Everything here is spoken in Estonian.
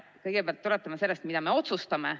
Kõigepealt tuletame meelde, mida me otsustame.